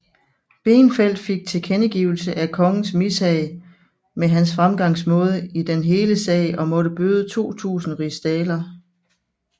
Beenfeldt fik tilkendegivelse af kongens mishag med hans fremgangsmåde i den hele sag og måtte bøde 2000 rigsdaler